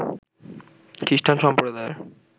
খ্রিস্টান সম্প্রদায়ের